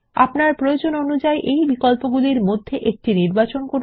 আপনার প্রয়োজন অনুযায়ী এই বিকল্পগুলির মধ্যে একটি নির্বাচন করুন